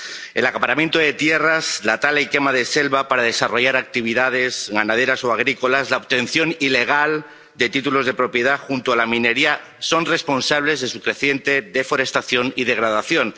El acaparamiento de tierras, la tala y quema de selva para desarrollar actividades ganaderas o agrícolas, la obtención ilegal de títulos de propiedad, junto a la minería, son responsables de su creciente deforestación y degradación.